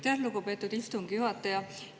Aitäh, lugupeetud istungi juhataja!